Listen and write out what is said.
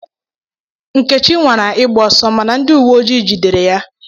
Nkechi nwara ịgba ọsọ mana ndị uwe ojii jidere ya.